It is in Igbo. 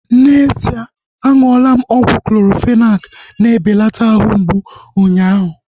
N'ezie aṅụla ọgwụ Clorofenak na-ebelata ahụ mgbụ unyaahu